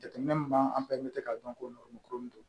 Jateminɛ min b'an k'a dɔn ko don